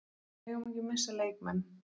Við megum ekki missa leikmenn.